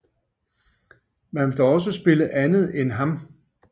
Man vil dog også spille andet end ham